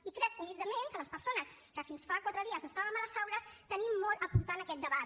i crec humilment que les persones que fins fa quatre dies estàvem a les aules tenim molt a aportar en aquest debat